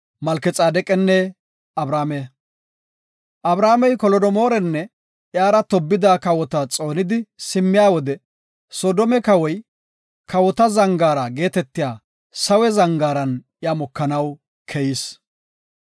Abramey Kolodogomoorinne iyara tobbida kawota xoonidi simmiya wode Soodome kawoy, Kawota Zangaara geetetiya Sawe Zangaaran iya mokanaw keyis.